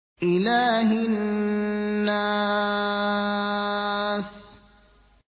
إِلَٰهِ النَّاسِ